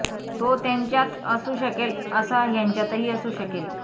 तो त्यांच्यात असू शकेल तसा ह्यांच्यातही असू शकेल